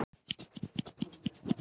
Finnskur skóli rýmdur